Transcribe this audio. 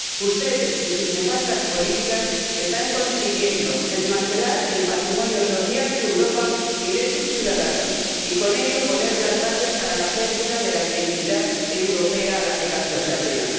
Ustedes y sus nefastas políticas están consiguiendo desmantelar el patrimonio social de Europa y de sus ciudadanos, y, con ello, poner las bases para la pérdida de la identidad europea a la que tanto se apela.